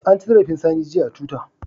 An ci zarafin Sani jiya a twitter.